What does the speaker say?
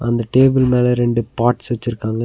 அந்த டேபிள் மேல ரெண்டு பாட்ஸ் வச்சிருக்காங்க.